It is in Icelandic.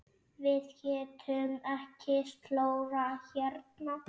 Við getum ekki slórað hérna.